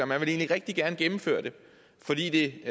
man egentlig rigtig gerne ville gennemføre det fordi det